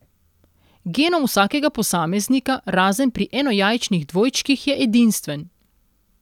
Genom vsakega posameznika, razen pri enojajčnih dvojčkih, je edinstven.